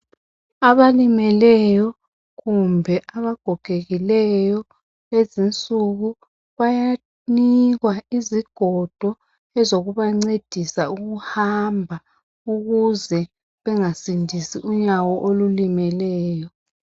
Abalimeleyo kumbe abagogekileyo lulezi insuku bayanikwa izigodo ezokubancedisa ukuhamba ukuze bengasindisi unyawo olulimeleyo.